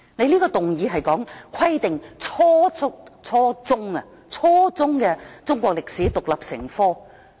這項議案是關於"規定初中中國歷史獨立成科"。